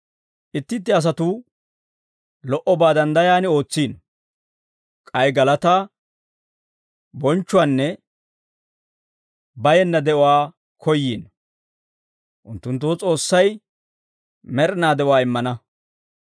Itti itti asatuu lo"obaa danddayan ootsiino; k'ay galataa, bonchchuwaanne bayenna de'uwaa koyyiino; unttunttoo S'oossay med'inaa de'uwaa immana.